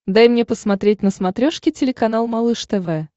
дай мне посмотреть на смотрешке телеканал малыш тв